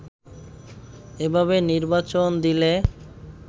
এভাবে নির্বাচন দিলে